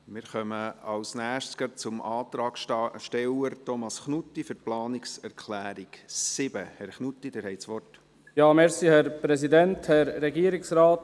Wir kommen als Nächstes gleich zum Antragsteller Thomas Knutti, für die Planungserklärung 7. Herr Knutti, Sie haben das Wort.